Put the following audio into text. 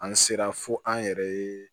An sera fo an yɛrɛ ye